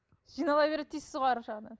жинала береді дейсіз ғой арғы жағынан